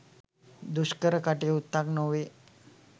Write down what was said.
දුෂ්කර කටයුත්තක් නොවේ.